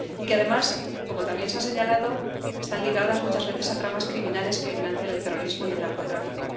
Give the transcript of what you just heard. Además, como también se ha señalado, están ligados muchas veces a tramas criminales que financian el terrorismo y el narcotráfico.